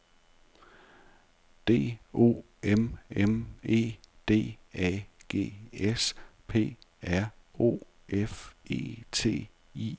D O M M E D A G S P R O F E T I E R